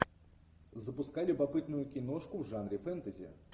запускай любопытную киношку в жанре фэнтези